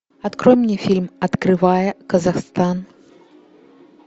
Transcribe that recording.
открой мне фильм открывая казахстан